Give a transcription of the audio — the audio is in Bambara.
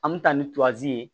An bɛ taa ni ye